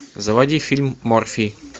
заводи фильм морфий